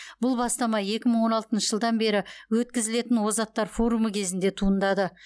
бұл бастама екі мың он алтыншы жылдан бері өткізілетін озаттар форумы кезінде туындады